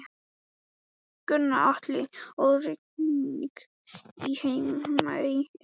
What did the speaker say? Gunnar Atli: Og rigning í Heimaey eða?